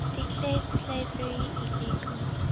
declared slavery illegal